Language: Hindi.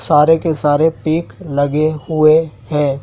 सारे के सारे पिक लगे हुए हैं।